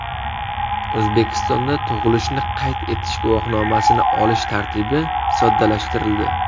O‘zbekistonda tug‘ilishni qayd etish guvohnomasini olish tartibi soddalashtirildi.